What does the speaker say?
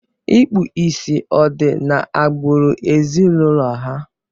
Ịkpu ìsì ọ̀ di n'agbụrụ ezinụlọ ha?